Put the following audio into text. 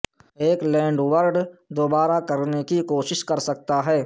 ایک لینڈڈورڈ دوبارہ کرنے کی کوشش کر سکتا ہے